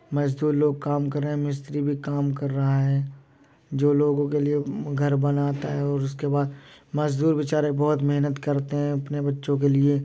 मज़दूर लोग काम कर रहे हैं मिस्त्री भी काम कर रहा है। जो लोगों के लिए घर बनाता है और उसके बाद मज़दूर बेचारे बहुत मेहनत करते हैं अपने बच्चों के लिए।